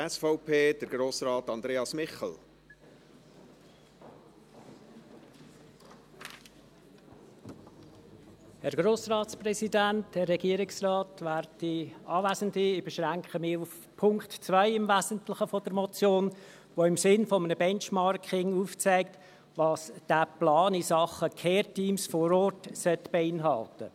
Ich beschränke mich im Wesentlichen auf den Punkt 2 der Motion, der im Sinne eines Benchmarkings aufzeigt, was dieser Plan in Sachen Care-Teams vor Ort beinhalten sollte.